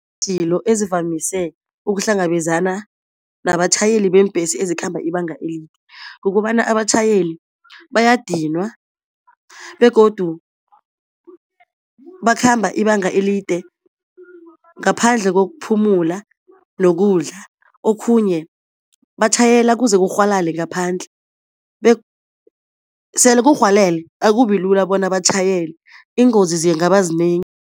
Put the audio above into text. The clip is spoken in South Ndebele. ezivamise ukuhlangabezana nabatjhayeli beembhesi ezikhamba ibanga elide. Kukobana abatjhayeli bayadinwa, begodu bakhamba ibanga elide ngaphandle kokuphumula nokudla. Okhunye batjhayela kuze kurhwalale ngaphandle sele kurhwalele akubi lula bona batjhayele, ingozi zingaba zinengi.